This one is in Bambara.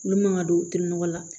Olu man ka don u tɛ nɔgɔ la